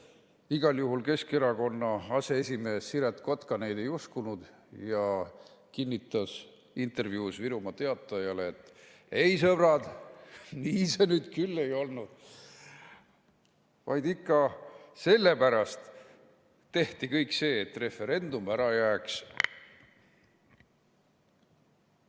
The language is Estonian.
Igal juhul Keskerakonna aseesimees Siret Kotka neid ei uskunud ja kinnitas intervjuus Virumaa Teatajale, et ei, sõbrad, nii see nüüd küll ei olnud, vaid ikka sellepärast tehti kõik see, et referendum ära jääks.